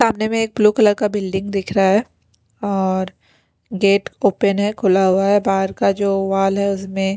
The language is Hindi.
सामने में एक ब्लू कलर का बिल्डिंग दिख रहा है और गेट ओपन है खुला हुआ है बाहर का जो वॉल है उसमें--